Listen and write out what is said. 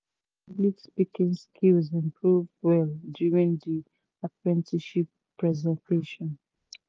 my public speaking skills improve well during the apprenticeship presentation